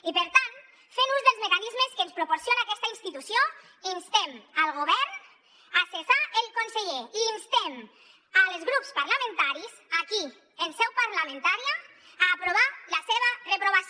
i per tant fent ús dels mecanismes que ens proporciona aquesta institució instem el govern a cessar el conseller i instem els grups parlamentaris aquí en seu parlamentària a aprovar la seva reprovació